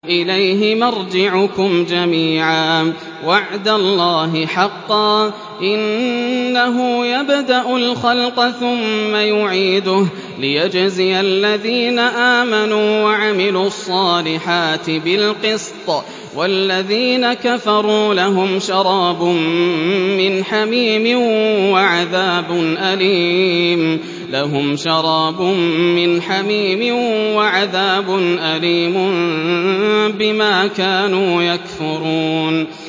إِلَيْهِ مَرْجِعُكُمْ جَمِيعًا ۖ وَعْدَ اللَّهِ حَقًّا ۚ إِنَّهُ يَبْدَأُ الْخَلْقَ ثُمَّ يُعِيدُهُ لِيَجْزِيَ الَّذِينَ آمَنُوا وَعَمِلُوا الصَّالِحَاتِ بِالْقِسْطِ ۚ وَالَّذِينَ كَفَرُوا لَهُمْ شَرَابٌ مِّنْ حَمِيمٍ وَعَذَابٌ أَلِيمٌ بِمَا كَانُوا يَكْفُرُونَ